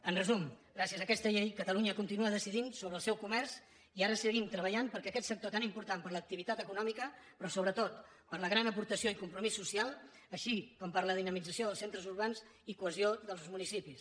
en resum gràcies a aquesta llei catalunya continua decidint sobre el seu comerç i ara seguim treballant per aquest sector tan important per l’activitat econòmica però sobretot per la gran aportació i compromís social així com per la dinamització dels centres urbans i cohesió dels municipis